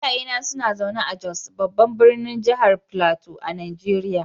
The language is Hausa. Iyayena suna zaune a Jos, babban birnin jihar Filato a Najeriya.